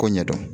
Ko ɲɛdɔn